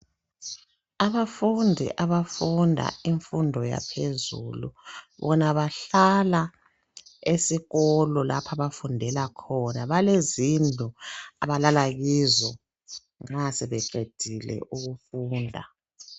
Abafundi abafunda imfundo yaphezulu, bona bahlala esikolo lapho abafundela khona. Balezindlu abalala kizo nxa sebeqedile ukufunda.